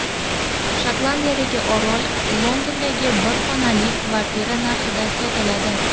Shotlandiyadagi orol Londondagi bir xonali kvartira narxida sotiladi.